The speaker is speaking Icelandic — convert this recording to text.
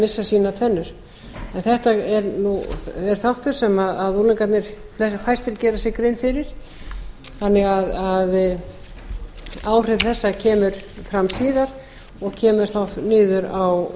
missa sínar tennur þetta er þáttur sem unglingarnir fæstir gera sér grein fyrir þannig að áhrif þessa koma fram síðar og koma þá niður á